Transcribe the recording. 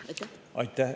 Aitäh!